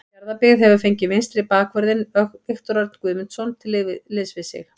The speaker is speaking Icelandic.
Fjarðabyggð hefur fengið vinstri bakvörðinn Viktor Örn Guðmundsson til liðs við sig.